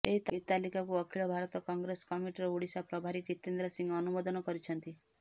ଏହି ତାଲିକାକୁ ଅଖିଳ ଭାରତ କଂଗ୍ରେସ କମିଟିର ଓଡ଼ିଶା ପ୍ରଭାରୀ ଜିତେନ୍ଦ୍ର ସିଂହ ଅନୁମୋଦନ କରିଛନ୍ତି